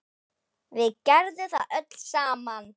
Við gerðum það öll saman.